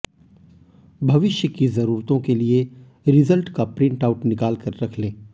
भविष्य की जरूरतों के लिए रिजल्ट का प्रिंट आउट निकाल कर रख लें